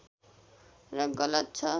र गलत छ